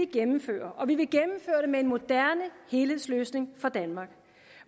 gennemføre og vi vil gennemføre det med en moderne helhedsløsning for danmark